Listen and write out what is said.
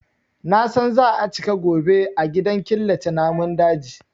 Na san za a cika gobe a gidan killace namun daji.